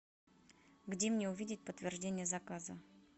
где мне увидеть подтверждение заказа